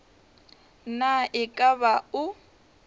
na e ka ba o